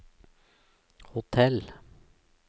hotell